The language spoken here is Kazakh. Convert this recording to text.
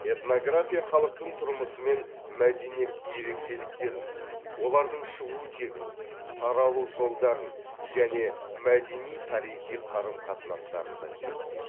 этнография халықтың тұрмысы мен мәдениет ерекшеліктерін олардың шығу тегін таралу жолдарын және мәдени тарихи қарым қатынастарын да зерттейді